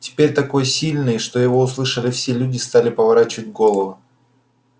теперь такой сильный что его услышали все люди стали поворачивать головы